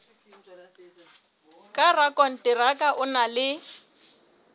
ka rakonteraka o na le